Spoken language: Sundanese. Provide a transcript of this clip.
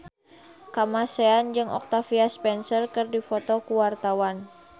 Kamasean jeung Octavia Spencer keur dipoto ku wartawan